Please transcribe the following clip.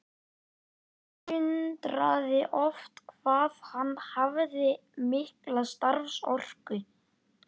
Mig undraði oft hvað hann hafði mikla starfsorku.